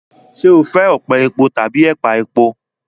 Ṣé o fẹ ọpẹ̀ èpọ̀ tábí èpà èpọ̀?